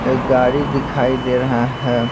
एक गाड़ी दिखाई दे रहा है।